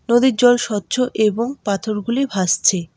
নদীর জল স্বচ্ছ এবং পাথরগুলি ভাসছে।